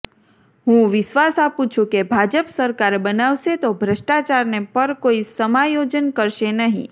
હું વિશ્વાસ આપું છું કે ભાજપ સરકાર બનાવશે તો ભ્રષ્ટાચારને પર કોઇ સમાયોજન કરશે નહીં